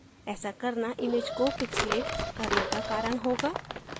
ऐसा करना image को pixelate करने का कारण होगा